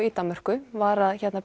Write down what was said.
í Danmörku var að